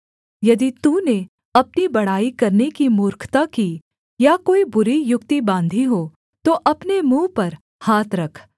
यदि तूने अपनी बढ़ाई करने की मूर्खता की या कोई बुरी युक्ति बाँधी हो तो अपने मुँह पर हाथ रख